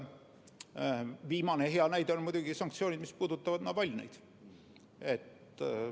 Viimane hea näide on muidugi sanktsioonid, mis puudutavad Navalnõiga toimunut.